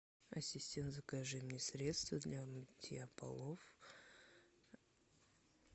ассистент закажи мне средство для мытья полов